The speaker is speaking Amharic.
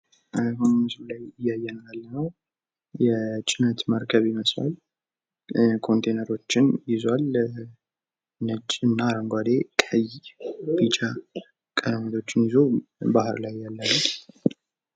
አሁን በምስሉ ላይ ያየነው ያለነው የጭነት መርከብ በሚመስል ኮንቲነሮችን ይዟል! አረንጓዴ ፡ቀይና ቢጫ ቀለሞች ይዞ ባህር ላይ ያለ ነው።